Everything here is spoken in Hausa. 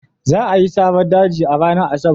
Za a yi saran daji a ranar Asabar.